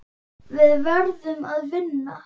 Við verðum að vinna.